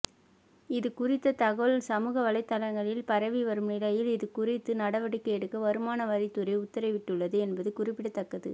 இதுகுறித்த தகவல் சமூக வலைத்தளங்களில் பரவி வரும் நிலையில் இதுகுறித்து நடவடிக்கை எடுக்க வருமான வரித்துறை உத்தரவிட்டுள்ளது என்பது குறிப்பிடத்தக்கது